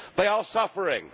They are suffering.